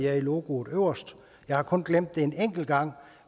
jeg i logoet øverst jeg har kun glemt det en enkelt gang